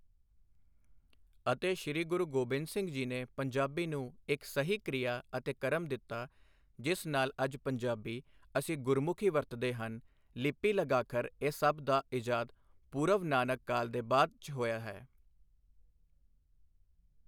ਅਤੇ ਸ਼੍ਰੀ ਗੁਰੂ ਗੋਬਿੰਦ ਸਿੰਘ ਜੀ ਨੇ ਪੰਜਾਬੀ ਨੂੰ ਇੱਕ ਸਹੀ ਕ੍ਰਿਆ ਅਤੇ ਕ੍ਰਮ ਦਿੱਤਾ ਜਿਸ ਨਾਲ ਅੱਜ ਪੰਜਾਬੀ ਅਸੀਂ ਗੁਰਮੁਖੀ ਵਰਤਦੇ ਹਨ ਲਿਪੀ ਲਗਾਖਰ ਇਹ ਸਭ ਦਾ ਇਜਾਤ ਪੂਰਵ ਨਾਨਕ ਕਾਲ ਦੇ ਬਾਅਦ 'ਚ ਹੋਇਆ ਹੈ।